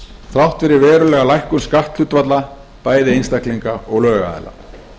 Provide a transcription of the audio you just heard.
þrátt fyrir verulega lækkun skatthlutfalla bæði einstaklinga og lögaðila